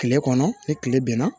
Kile kɔnɔ ni tile bɛnna